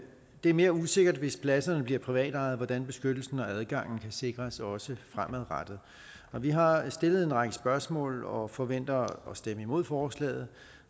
det er mere usikkert hvis pladserne bliver privatejet hvordan beskyttelsen og adgangen kan sikres også fremadrettet vi har stillet en række spørgsmål og forventer at stemme imod forslaget